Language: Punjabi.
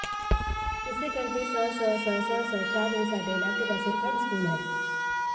ਇਸੇ ਕਰਕੇ ਸਸਸਸਸ ਛਾਜਲੀ ਸਾਡੇ ਇਲਾਕੇ ਦਾ ਸਿਰਕੱਢ ਸਕੂਲ ਹੈ